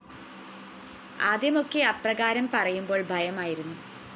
ആദ്യമൊക്കെ അപ്രകാരം പറയുമ്പോള്‍ ഭയമായിരുന്നു